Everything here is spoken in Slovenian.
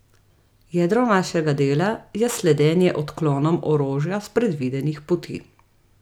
Jedro našega dela je sledenje odklonom orožja s predvidenih poti.